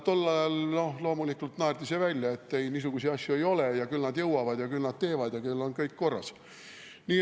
Tol ajal loomulikult naerdi see välja, et niisuguseid asju ei ole ja küll nad jõuavad ja küll nad teevad ja küll on kõik korras.